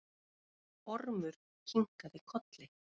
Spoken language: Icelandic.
Ormur kinkaði kolli.